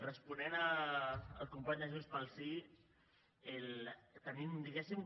responent al company de junts pel sí tenim diguéssim